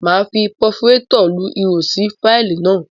Máa fi paforétọ̀ lu ihò sí fáìlì náà.